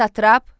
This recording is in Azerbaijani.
Satrap.